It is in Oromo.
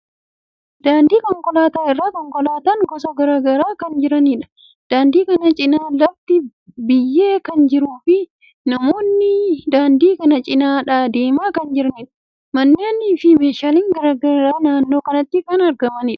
Daandii konkolaataa irra konkolaataan gosa garagaraa kan jiraniidha. Daandii kana cinaa lafti biyyee kan jiruu fi namoonni daandii kana cinaa deemaa kan jiraniidha. Manneen fi meeshaalen garagaraa naannoo kanatti kan jiraniidha.